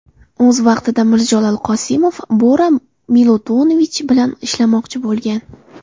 O‘z vaqtida Mirjalol Qosimov Bora Milutinovich bilan ishlamoqchi bo‘lgan.